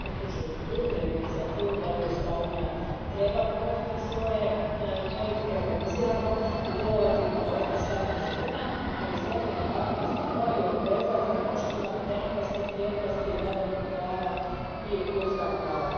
U svakom slučaju podupirem inicijativu da Europska unija organizirano provodi svoje politike i djeluje kao jedna skladna cjelina, ali zemlje se naravno moraju obvezati na poštovanje demokratskih vrijednosti, vladavine prava i ljudskih prava.